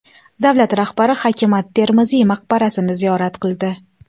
Davlat rahbari Hakim at-Termiziy maqbarasini ziyorat qildi.